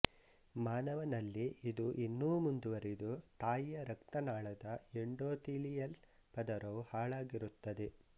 ಮಾನವನಲ್ಲಿ ಇದು ಇನ್ನೂ ಮುಂದುವರಿದು ತಾಯಿಯ ರಕ್ತನಾಳದ ಎಂಡೋತೀಲಿಯಲ್ ಪದರವೂ ಹಾಳಾಗಿರುತ್ತದೆ